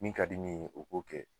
Min ka di min ye o ko kɛ